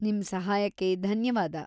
ನಿಮ್ ಸಹಾಯಕ್ಕೆ ಧನ್ಯವಾದ.